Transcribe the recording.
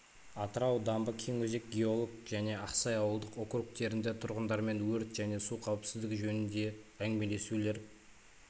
атырау дамбы кеңөзек геолог және ақсай ауылдық округтерінде тұрғындармен өрт және су қауіпсіздігі жөнінде әңгімелесулер